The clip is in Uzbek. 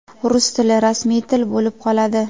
Rus tili rasmiy til bo‘lib qoladi.